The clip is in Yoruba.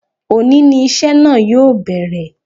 Òní ni iṣẹ́ náà yóò bẹ̀rẹ̀